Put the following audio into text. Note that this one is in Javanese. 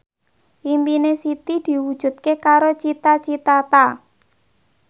impine Siti diwujudke karo Cita Citata